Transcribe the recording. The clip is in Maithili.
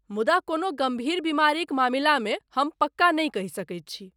मुदा ,कोनो गम्भीर बीमारीक मामिलामे हम पक्का नहि कहि सकैत छी।